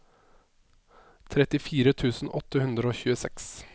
trettifire tusen åtte hundre og tjueseks